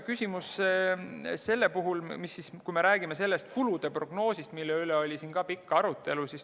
Küsiti nende kulude prognoosi kohta, mille üle oli siin ka pikk arutelu.